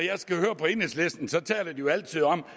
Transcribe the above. jo altid om